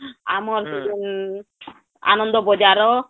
ଆମର ଆନନ୍ଦ ବଜାର